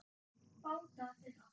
Báta þeirra